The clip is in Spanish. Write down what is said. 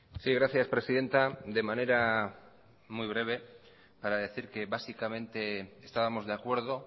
sí gracias presidenta de manera muy breve para decir que básicamente estábamos de acuerdo